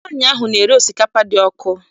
Nwaanyị ahụ na-ere osikapa dị ọkụ.